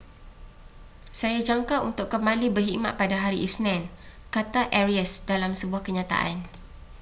saya jangka untuk kembali berkhidmat pada hari isnin kata arias dalam sebuah kenyataan